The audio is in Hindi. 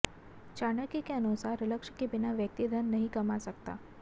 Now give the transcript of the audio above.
चाणक्य के अनुसार लक्ष्य के बिना व्यक्ति धन नहीं कमा सकता